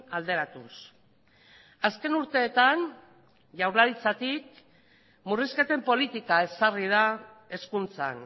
alderatuz azken urteetan jaurlaritzatik murrizketen politika ezarri da hezkuntzan